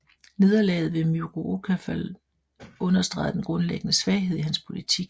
Nederlaget ved Myriokephalon understregede den grundlæggende svaghed i hans politik